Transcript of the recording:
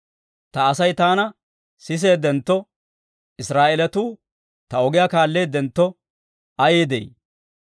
Ta Asay taana siseedentto, Israa'eelatuu ta ogiyaa kaalleedentto ayee de'ii!